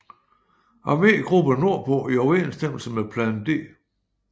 Armegruppe nordpå i overensstemmelse med Plan D